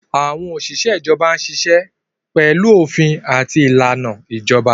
Àwọn òṣìṣẹ́ ìjọba ń ṣiṣẹ́ pẹ̀lú òfin àti ìlànà ìjọba